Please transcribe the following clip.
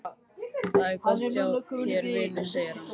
Það er gott hjá þér, vinur, segir hann.